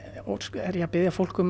er ég að biðja fólk um